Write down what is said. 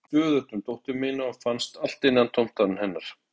Ég hugsaði stöðugt um dóttur mína og fannst allt innantómt án hennar.